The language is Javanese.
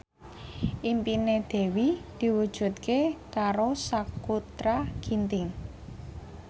impine Dewi diwujudke karo Sakutra Ginting